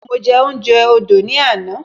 Mo je ounje odo ni ana